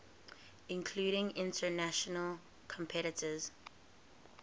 including international competitors